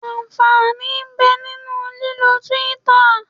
Ànfàní ń bẹ nínú lílọ Twitter.